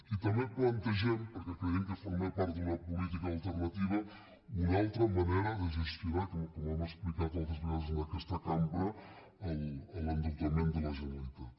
i també plantegem perquè creiem que forma part d’una política alternativa una altra manera de gestionar com hem explicat altres vegades en aquesta cambra l’endeutament de la generalitat